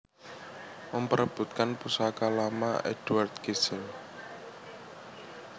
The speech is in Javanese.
Memperebutkan Pusaka Lama Edouard Kijzer